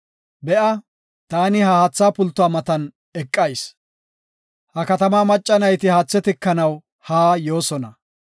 Heko, taani ha haatha pultuwa matan eqayis; ha katama macca nayti haatha tikanaw haa yoosona.